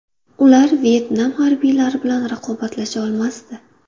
Ular Vyetnam harbiylari bilan raqobatlasha olmasdi.